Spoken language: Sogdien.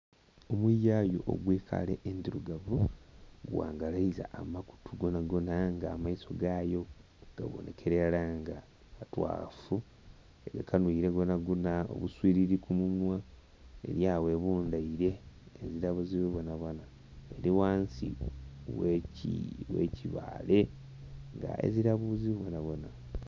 Omuyayu ogw'ekala endhirugavu gwangalaiza amakutu gonagona, aye nga amaiso gayo gabonhekela ilara nga matwaafu. Egakanhwile gonagona, obuswilili ku munhwa. Eli agho ebundhaile ezira buzibu bwonabwona. Eli ghansi gh'ekibaale ng'ezira buzibu bwonabwona.